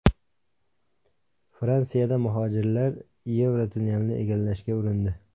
Fransiyada muhojirlar Yevrotunnelni egallashga urindi.